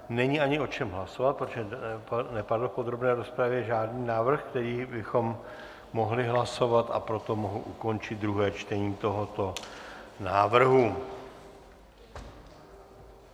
Není ani o čem hlasovat, protože nepadl v podrobné rozpravě žádný návrh, který bychom mohli hlasovat, a proto mohu ukončit druhé čtení tohoto návrhu.